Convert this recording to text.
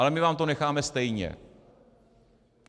Ale my vám to necháme stejně...